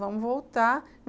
Vamos voltar.